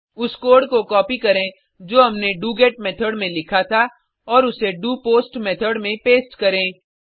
उस कोड को कॉपी करें जो हमने डोगेट मेथोड में लिखा था और उसे डोपोस्ट मेथोड में पेस्ट करें